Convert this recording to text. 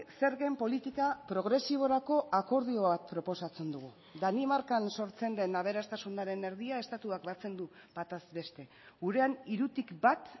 zergen politika progresiborako akordioak proposatzen dugu danimarkan sortzen den aberastasunaren erdia estatuak batzen du bataz beste gurean hirutik bat